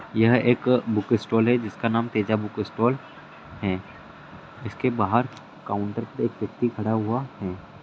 यह एक book stall हैं जिसका नाम तेजा बुक स्टॉल हैं। इसके बाहर काउन्टर पे एक व्यक्ति खड़ा हुआ हैं।